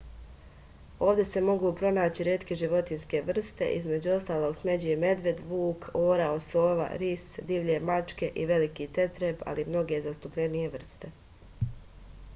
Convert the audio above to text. ovde se mogu pronaći retke životinske vrste između ostalog smeđi medved vuk orao sova ris divlje mačke i veliki tetreb ali i mnoge zastupljenije vrste